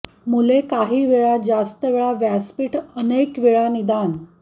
मुले काही वेळा जास्त वेळा व्यासपीठ अनेक वेळा निदान